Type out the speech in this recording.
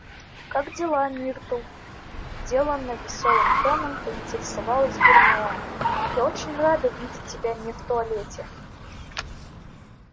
как дела миртл деланно весёлым тоном поинтересовалась гермиона я очень рада видеть тебя не в туалете